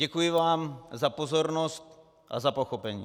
Děkuji vám za pozornost a za pochopení.